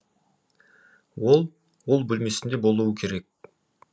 ол ол бөлмесінде болуы керек